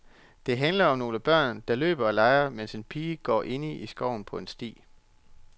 Den handler om nogle børn, der løber og leger, mens en pige går inde i skoven på en sti.